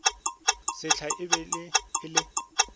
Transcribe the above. sehla e be e le